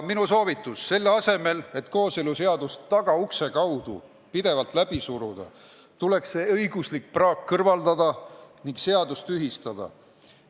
Minu soovitus on: selle asemel et kooseluseadust tagaukse kaudu pidevalt läbi suruda, tuleks see õiguslik praak kõrvaldada ning seadus tühistada.